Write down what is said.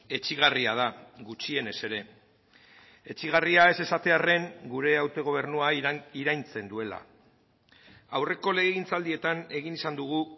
etsigarria da gutxienez ere etsigarria ez esatearren gure autogobernua iraintzen duela aurreko legegintzaldietan egin izan dugu